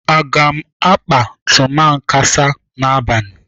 Aga m akpa tumakansa n'abalị.